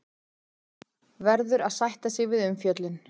Verður að sætta sig við umfjöllun